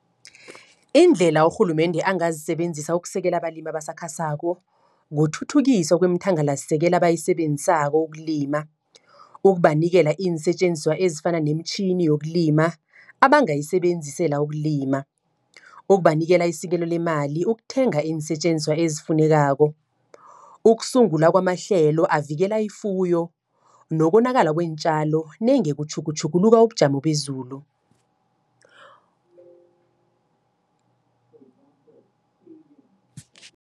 Indlela urhulumende angazisebenzisa ukusekela abalimi abasakhasako. Kuthuthukiswa komthangalasisekelo, abayisebenzisako ukulima. Ukubanikela iinsetjenziswa ezifana nemitjhini yokulima, abangayisebenzisela ukulima. Ukubanikela isekelo lemali ukuthenga iinsetjenziswa, ezifunekako. Ukusungula kwamahlelo avikela ifuyo, nokonakala kweentjalo nenge kutjhugutjhuguluka ubujamo bezulu.